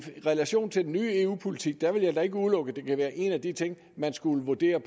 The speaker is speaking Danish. relation til den nye eu politik vil jeg ikke udelukke at det kan være en af de ting man skulle vurdere